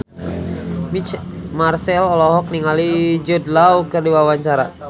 Marchell olohok ningali Jude Law keur diwawancara